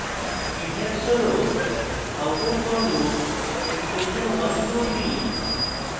syntax হল outer for loop expression 123